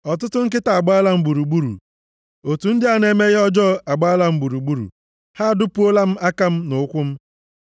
Ọtụtụ nkịta agbaala m gburugburu; otù ndị na-eme ihe ọjọọ agbaala m gburugburu, ha adupuola m aka m na ụkwụ m.